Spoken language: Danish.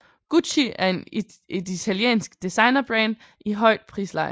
Gucci er et italiensk designerbrand i højt prisleje